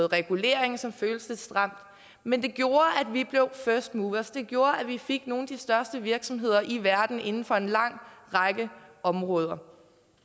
regulering som føltes lidt stramt men det gjorde at vi blev first movers det gjorde at vi fik nogle af de største virksomheder i verden inden for en lang række områder